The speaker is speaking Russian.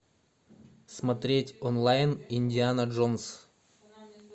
смотреть онлайн индиана джонс